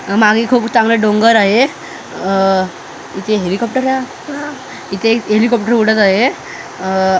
अ मागे खूप चांगलं डोंगर आहे अ इचे हेलिकॉप्टर आ इथे एक हेलिकॉप्टर उडत आहे अ--